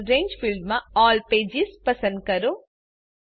આગળRange ફિલ્ડમાં all pages પસંદ કરો